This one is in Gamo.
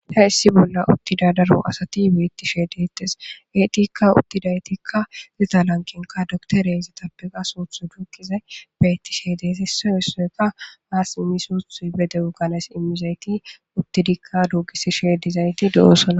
ta issi bolla uttida daro asati beettishee detes eetikka uttidaytikka lita lankenka doktoreezetappeqa suuthu duukize beettishe dees issoy issoyka aas immisuthu bede7u ganes imizayti uttidikka duugisi shedizayti do7ossona